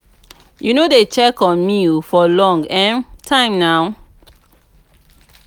you no dey check on me for a long um time now?